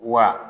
Wa